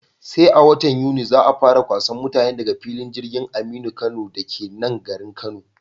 Sai a watan Yuni za'a fara kwasan mutane daga filin jirgin Aminu Kano dake nan garin Kano